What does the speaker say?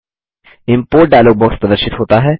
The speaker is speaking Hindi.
इम्पोर्ट डायलॉग बॉक्स प्रदर्शित होता है